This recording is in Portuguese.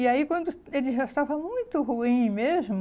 E aí, quando ele já estava muito ruim mesmo,